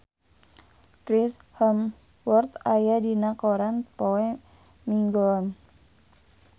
Chris Hemsworth aya dina koran poe Minggon